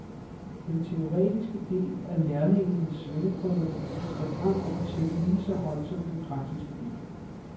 Den teoretiske del af lærlingenes svendeprøve skal fremover tælle lige så højt som den praktiske del.